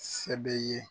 Sɛbɛ ye